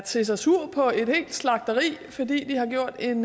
set sig sur på et helt slagteri fordi de har gjort en